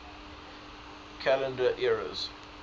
calendar eras